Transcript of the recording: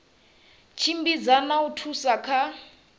tshimbidza na u thusa kha